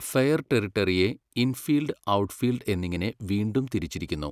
Fair ടെറിട്ടറിയെ 'infield', 'outfield' എന്നിങ്ങനെ വീണ്ടും തിരിച്ചിരിക്കുന്നു.